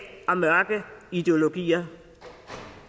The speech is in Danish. og mørke ideologier